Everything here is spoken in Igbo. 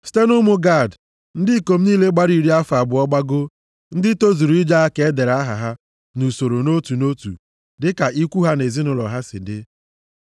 Site nʼụmụ Gad, ndị ikom niile gbara iri afọ abụọ gbagoo, ndị tozuru ije agha ka e dere aha ha nʼusoro nʼotu nʼotu dịka ikwu ha na ezinaụlọ ha si dị.